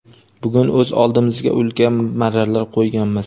bugun o‘z oldimizga ulkan marralar qo‘yganmiz.